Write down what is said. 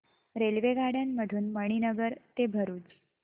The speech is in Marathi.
रेल्वेगाड्यां मधून मणीनगर ते भरुच